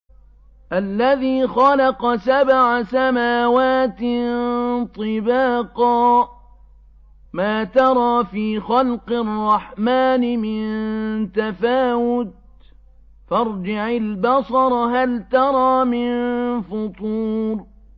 الَّذِي خَلَقَ سَبْعَ سَمَاوَاتٍ طِبَاقًا ۖ مَّا تَرَىٰ فِي خَلْقِ الرَّحْمَٰنِ مِن تَفَاوُتٍ ۖ فَارْجِعِ الْبَصَرَ هَلْ تَرَىٰ مِن فُطُورٍ